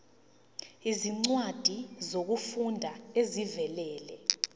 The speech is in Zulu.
izincwadi zokufunda ezivela